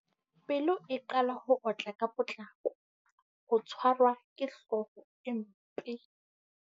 Pelo e qala ho otla ka potlako. Ho tshwarwa ke hlooho e mpe.